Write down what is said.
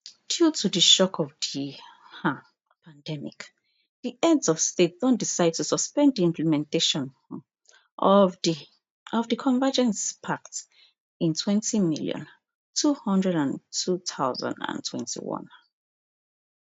due to di shock of di um pandemic di heads of state don decide to suspend di implementation um of di of di convergence pact in twenty million, two hundred and two thousand and twenty-one